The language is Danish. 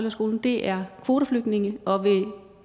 i skolen er kvoteflygtninge og vil